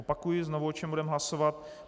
Opakuji znovu, o čem budeme hlasovat.